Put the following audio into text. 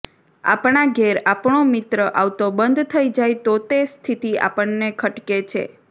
આપણા ઘેર આપણો મિત્ર આવતો બંધ થઈ જાય તો તે સ્થિતિ આપણને ખટકે છે